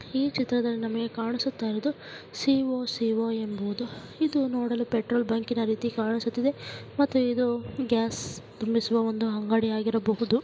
ಈ ಚಿತ್ರದಲ್ಲಿ ನಮಗೆ ಕಾಣಿಸುತ್ತಿರುವುದು ಸಿ.ಓ.ಸಿ.ಓ ಎಂಬುದು ಇದು ಒಂದು ಪೆಟ್ರೋಲ್ ಬಂಕಿನ ರೀತಿ ಕಾಣಿಸುತ್ತಿದೆ ಮತ್ತೆ ಇದು ಗ್ಯಾಸ್ ತುಂಬಿಸುವ ಒಂದು ಅಂಗಡಿಯ ಆಗಿರಬಹುದು.